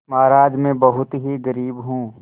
महाराज में बहुत ही गरीब हूँ